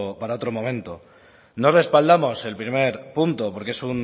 para otro momento no respaldamos el primer punto porque